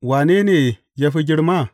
Wane ne ya fi girma?